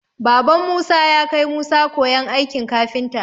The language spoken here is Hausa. Baban musa yakai musa koyan aikin kafinta.